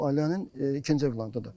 Bu ailənin ikinci övladıdır.